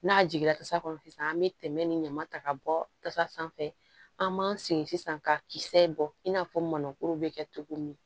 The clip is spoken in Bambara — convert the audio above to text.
N'a jiginna tasa kɔnɔ sisan an be tɛmɛ ni ɲɔ ta ka bɔ tasa sanfɛ an b'an sigi sisan ka kisɛ in bɔ in n'a fɔ mɔnɔnkuru bɛ kɛ cogo min